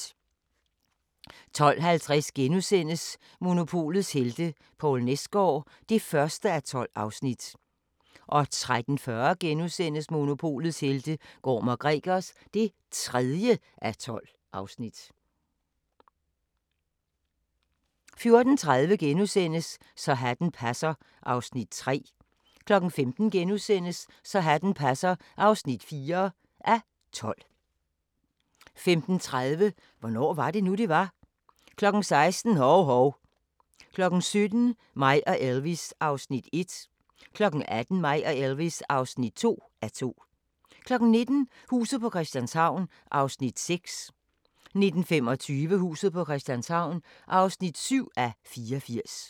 12:50: Monopolets helte - Poul Nesgaard (1:12)* 13:40: Monopolets helte - Gorm & Gregers (3:12)* 14:30: Så hatten passer (3:12)* 15:00: Så hatten passer (4:12)* 15:30: Hvornår var det nu, det var? 16:00: Hov-Hov 17:00: Mig og Elvis (1:2) 18:00: Mig og Elvis (2:2) 19:00: Huset på Christianshavn (6:84) 19:25: Huset på Christianshavn (7:84)